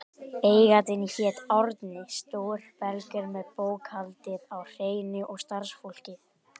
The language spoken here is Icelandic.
Eigandinn hét Árni, stór belgur með bókhaldið á hreinu og starfsfólkið.